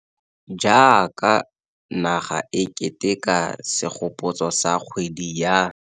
Jaaka naga e keteka segopotso sa kgwedi ya.